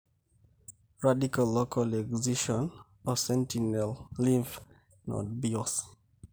Radical local excision o sentinel lymph node biosy.